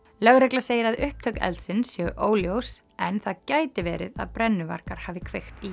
lögregla segir að upptök eldsins séu óljós en það gæti verið að brennuvargar hafi kveikt í